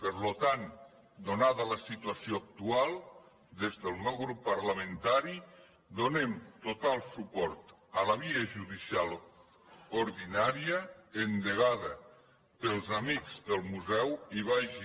per tant atesa la situació actual des del meu grup parlamentari donem total suport a la via judicial ordinària endegada pels amics del museu i vagi